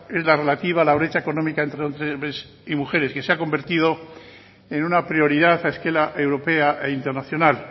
es la relativa a la brecha económica entre hombres y mujeres que se ha convertido en una prioridad a escala europea e internacional